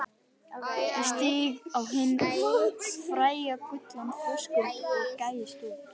Ég stíg á hinn fræga gullna þröskuld og gægist út.